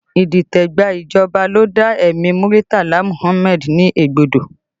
Idite gba ìjọba ló dá ẹ̀mí Muritala Muhammad ní egbodo